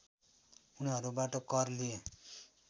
उनीहरूबाट कर लिए